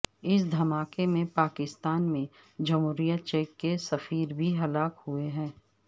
اس دھماکے میں پاکستان میں جمہوریہ چیک کے سفیر بھی ہلاک ہوئے ہیں